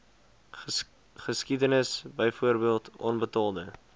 geskiedenis byvoorbeeld onbetaalde